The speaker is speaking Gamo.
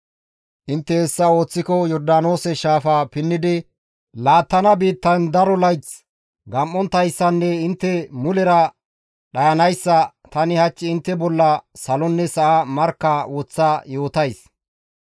Intte hessa ooththiko Yordaanoose shaafa pinnidi laattana biittayn daro layth gam7onttayssanne intte mulera dhayanayssa tani hach intte bolla salonne sa7a markka woththa yootays.